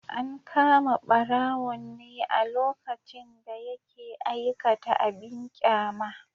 An kama barawon ne a lokacin da yake aikata abin kyama.